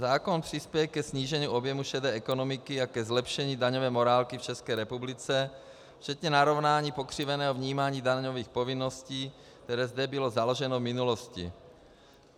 Zákon přispěje ke snížení objemu šedé ekonomiky a ke zlepšení daňové morálky v České republice včetně narovnání pokřiveného vnímání daňových povinností, které zde bylo založeno v minulosti.